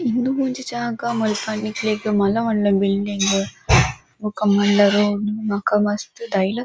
ಇಂದು ಒಂಜಿ ಜಾಗ ಮುಲ್ಪ ನಿಕ್ಲೆಗ್ ಮಲ್ಲ ಮಲ್ಲ ಬಿಲ್ಡಿಂಗ್ ಬೊಕ ಮಲ್ಲ ರೋ ಬೊಕ ಮಸ್ತ್ ದೈಲ-- ]>